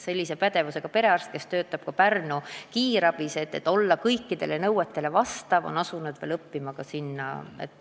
Sellise pädevusega perearst, kes töötab ka Pärnu kiirabis, on selleks, et olla kõikidele nõuetele vastav, asunud veel ka ülikoolis õppima.